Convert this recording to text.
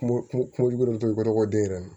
Kungojugu den yɛrɛ nun